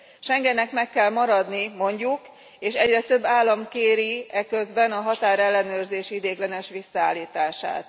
Schengennek meg kell maradni, mondjuk, és egyre több állam kéri eközben a határellenőrzés ideiglenes visszaállítását.